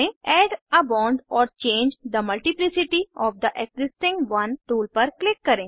add a bond or change the multiplicity of the existing one tool पर click करें